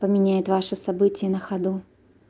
поменяет ваше событие на ходу